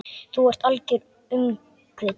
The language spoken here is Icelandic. Þú ert algert öngvit!